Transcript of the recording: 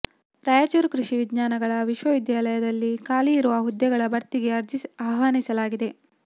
ರಾಯಚೂರು ಕೃಷಿ ವಿಜ್ಞಾನಗಳ ವಿಶ್ವವಿದ್ಯಾಲಯದಲ್ಲಿ ಖಾಲಿ ಇರುವ ಹುದ್ದೆಗಳ ಭರ್ತಿಗೆ ಅರ್ಜಿ ಆಹ್ವಾನಿಸಲಾಗಿದೆ